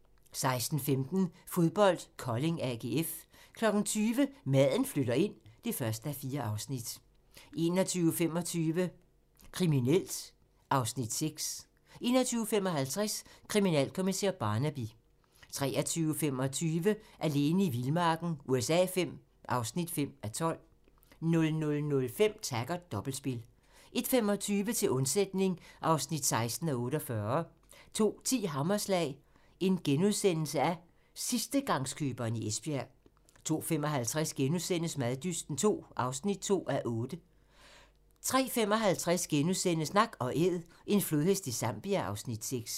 16:15: Fodbold: Kolding-AGF 20:00: Maden flytter ind (1:4) 21:25: Kriminelt (Afs. 6) 21:55: Kriminalkommissær Barnaby 23:25: Alene i vildmarken USA V (5:12) 00:05: Taggart: Dobbeltspil 01:25: Til undsætning (16:48) 02:10: Hammerslag - sidstegangskøberen i Esbjerg * 02:55: Maddysten II (2:8)* 03:55: Nak & Æd - en flodhest i Zambia (Afs. 6)*